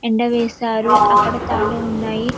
ఎండ వేశారు అక్కడ తాలు ఉన్నాయి --